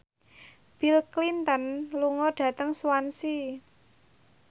Bill Clinton lunga dhateng Swansea